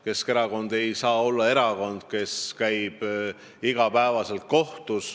Keskerakond ei tohi olla erakond, kes käib iga päev kohtus.